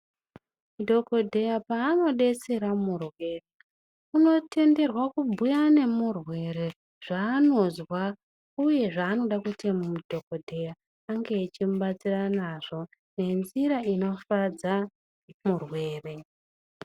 Dhogodheya paanodetsera murwere unotenderwa kubhuya nemurwere zvaanozwa, uye zvanoda kuti dhogodheya ange achimubatsira nazvo ngenzira inofadza murwere.